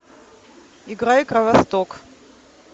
играй кровосток